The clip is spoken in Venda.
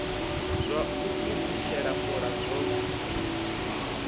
zwa u ukhuthela fola zwo